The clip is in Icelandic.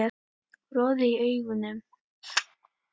Roði í augum